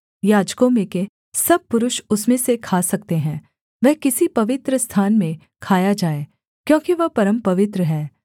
याजकों में के सब पुरुष उसमें से खा सकते हैं वह किसी पवित्रस्थान में खाया जाए क्योंकि वह परमपवित्र है